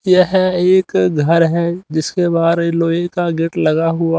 यह एक घर है जिसके बारे लोहे का गेट लगा हुआ--